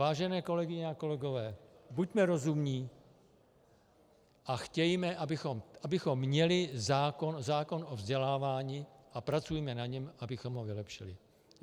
Vážené kolegyně a kolegové, buďme rozumní a chtějme, abychom měli zákon o vzdělávání, a pracujme na něm, abychom ho vylepšili.